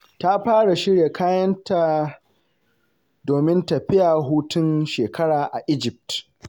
Ta fara shirya kayanta domin tafiya hutun shekara a Egypt.